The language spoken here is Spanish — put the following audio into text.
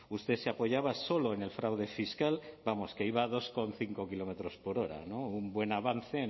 usted se apoyaba solo en el fraude fiscal vamos que iba a dos coma cinco kilómetros por hora no un buen avance